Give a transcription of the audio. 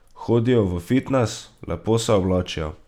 Hodijo v fitnes, lepo se oblačijo.